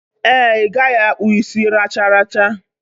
Ee, I gaghi akpu isi racharacha.